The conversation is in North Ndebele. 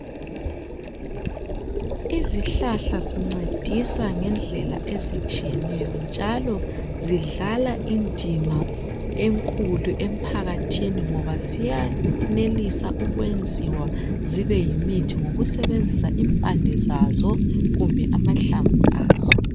Izihlahla zincedisa ngendlela ezitshiyeneyo njalo zidlala indima enkulu emphakathini ngoba ziyenelisa ukwenziwa zibe yimithi ngokusebenzisa impande zazo kumbe amahlamvu azo.